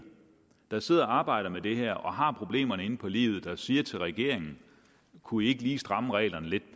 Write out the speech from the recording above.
der sidder og arbejder med det her og har problemerne inde på livet der siger til regeringen kunne i ikke lige stramme reglerne lidt